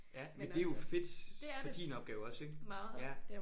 Ja men det er jo fedt for din opgave også ik? Ja